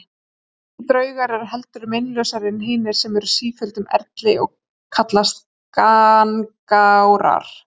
Slíkir draugar eru heldur meinlausari en hinir sem eru á sífelldum erli og kallast gangárar.